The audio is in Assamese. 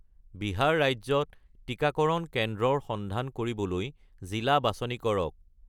বিহাৰ ৰাজ্যত টিকাকৰণ কেন্দ্ৰৰ সন্ধান কৰিবলৈ জিলা বাছনি কৰক